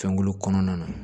Fɛnkolo kɔnɔna na